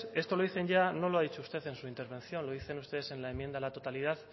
esto lo dicen ya no lo ha dicho usted en su intervención lo dicen ustedes en la enmienda a la totalidad